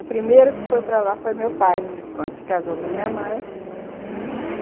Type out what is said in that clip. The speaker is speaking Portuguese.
O primeiro que foi para lá foi meu pai, quando se casou com minha mãe.